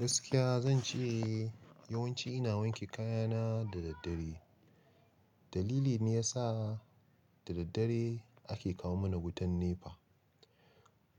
Gaskiya zan ce yawanci ina wanke kayana da daddare. Dalili ne ya sa da daddare ake kawo mana wutan NEPA.